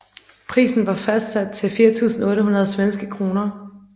Prisen var fastsat til 4800 svenske kroner